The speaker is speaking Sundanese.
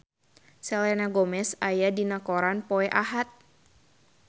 Selena Gomez aya dina koran poe Ahad